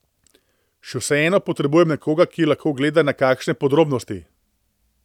Še vseeno potrebujem nekoga, ki lahko gleda na kakšne podrobnosti.